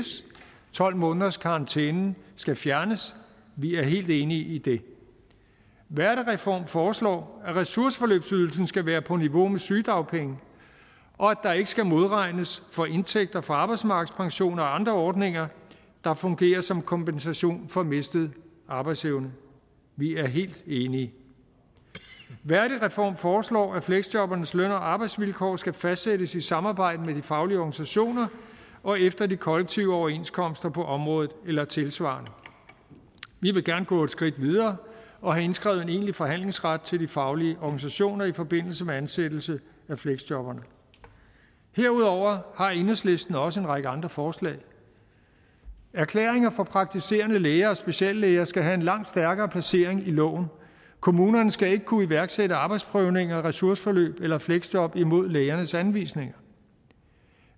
tolv månederskarantænen skal fjernes vi er helt enige i det værdigreform foreslår at ressourceforløbsydelsen skal være på niveau med sygedagpenge og at der ikke skal modregnes for indtægter fra arbejdsmarkedspensioner og andre ordninger der fungerer som kompensation for mistet arbejdsevne vi er helt enige værdigreform foreslår at fleksjobbernes løn og arbejdsvilkår skal fastsættes i samarbejde med de faglige organisationer og efter de kollektive overenskomster på området eller tilsvarende vi vil gerne gå skridtet videre og have indskrevet en egentlig forhandlingsret til de faglige organisationer i forbindelse med ansættelse af fleksjobberne derudover har enhedslisten også en række andre forslag erklæringer fra praktiserende læger og speciallæger skal have en langt stærkere placering i loven kommunerne skal ikke kunne iværksætte arbejdsprøvninger ressourceforløb eller fleksjob imod lægernes anvisninger